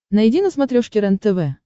найди на смотрешке рентв